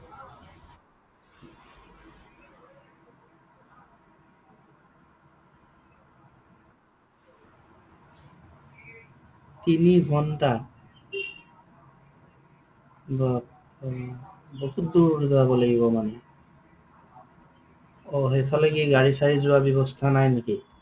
তিনিঘণ্টা? বাপ্পা ঐ, বহুত দূৰ যাব লাগিব মানে? অ সেইফালে কি গাড়ী চাড়ী যোৱাৰ ব্যৱস্থা নাই নেকি?